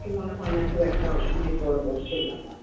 কিছু মনে হয় না খুব একটা অনেক বড় একটা কষ্টের ব্যাপার